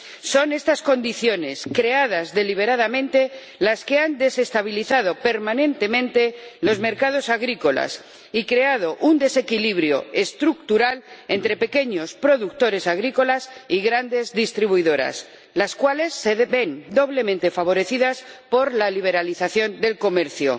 Son estas condiciones, creadas deliberadamente, las que han desestabilizado permanentemente los mercados agrícolas y creado un desequilibrio estructural entre pequeños productores agrícolas y grandes distribuidoras, las cuales se ven doblemente favorecidas por la liberalización del comercio.